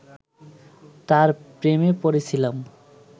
তার প্রেমে পড়েছিলাম